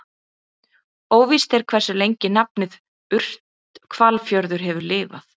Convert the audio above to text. Óvíst er hversu lengi nafnið Urthvalafjörður hefur lifað.